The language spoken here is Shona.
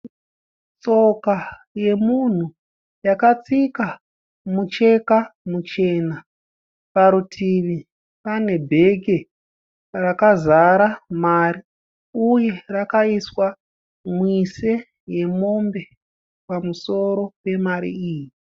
Tsoka yemunhu yakatsika mucheka muchena. Parutivi pane bheke rakazara mari uye rakaiswa mwise yemombe pamusoro pemari iyi.